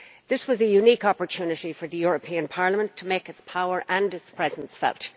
This was a unique opportunity for the European Parliament to make its power and its presence felt.